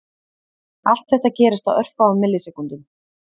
Allt þetta gerist á örfáum millisekúndum.